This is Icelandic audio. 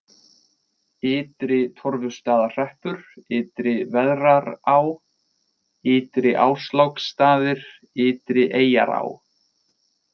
Ytri-Torfustaðahreppur, Ytri-Veðrará, Ytri-Ásláksstaðir, Ytrieyjará